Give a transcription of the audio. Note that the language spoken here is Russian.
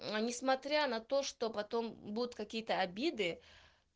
но несмотря на то что потом будут какие-то обиды